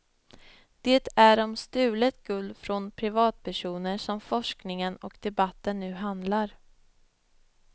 Det är om stulet guld från privatpersoner som forskningen och debatten nu handlar.